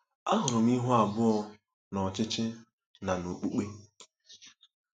Ahụrụ m ihu abụọ n’ọchịchị na n’okpukpe.